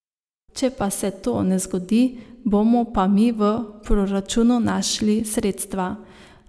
Če pa se to ne zgodi, bomo pa mi v proračunu našli sredstva.